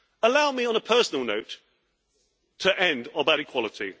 Allow me on a personal note to end on that equality.